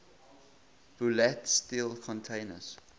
bulat steel contains